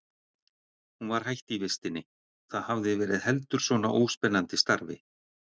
Hún var hætt í vistinni, það hafði verið heldur svona óspennandi starfi.